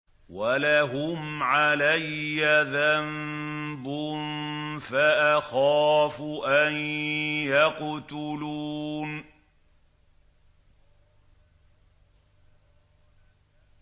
وَلَهُمْ عَلَيَّ ذَنبٌ فَأَخَافُ أَن يَقْتُلُونِ